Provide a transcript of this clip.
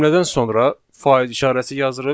Cümlədən sonra faiz işarəsi yazırıq.